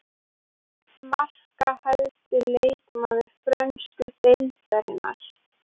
Markahæsti leikmaður frönsku deildarinnar.